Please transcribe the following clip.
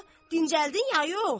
Dincəldin ya yox?